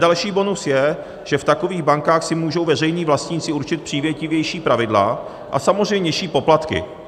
Další bonus je, že v takových bankách si můžou veřejní vlastníci určit přívětivější pravidla a samozřejmě nižší poplatky.